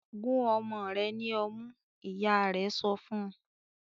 "Gun ọmọ rẹ̀ ní ọmú!" Ìyá rẹ̀ sọ fún.